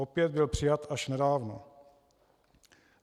Opět byl přijat až nedávno.